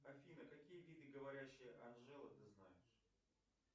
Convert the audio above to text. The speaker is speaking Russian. афина какие виды говорящая анжела ты знаешь